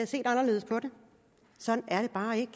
set anderledes på det sådan er det bare ikke